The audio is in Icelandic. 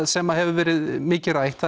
sem hefur verið mikið rætt